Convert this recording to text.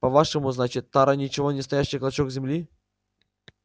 по-вашему значит тара ничего не стоящий клочок земли